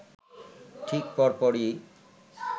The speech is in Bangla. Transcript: ঠিক পর পরই